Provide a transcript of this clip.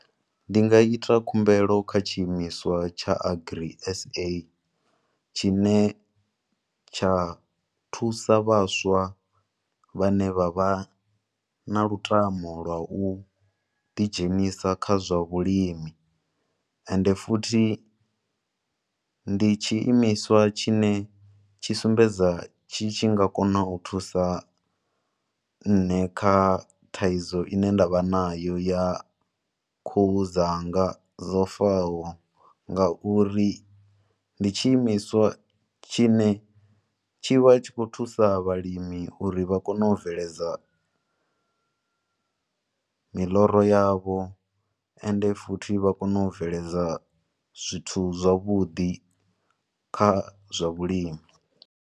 Ndi nga ita khumbelo kha tshi imiswa tsha Agri S_A tshine tsha thusa vhaswa vhane vha vha na lutamo lwa u ḓi dzhenisa kha zwa vhulimi. Ende futhi, ndi tshi imiswa tshi ne tshi sumbedza tshi tshi nga kona u thusa nne kha thaidzo ine nda vha na yo, ya khuhu dzanga dzo faho, ngauri ndi tshi imiswa tshine tshi vha tshi khou thusa vhalimi uri vha kone u bveledza miḽoro yavho, ende futhi vha kone u bveledza zwithu zwavhuḓi kha zwa vhulimi.